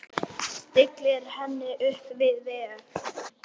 Stillir henni upp við vegg.